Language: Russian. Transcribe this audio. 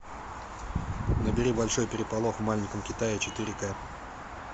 набери большой переполох в маленьком китае четыре ка